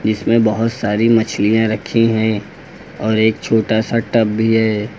जिसमें बहुत सारी मछलियां रखी हैं और एक छोटा सा टब भी है।